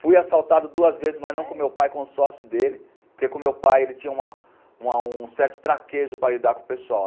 Fui assaltado duas vezes, mas não com o meu pai, com o sócio dele, porque com o meu pai ele tinha um certo traquejo para lidar com o pessoal.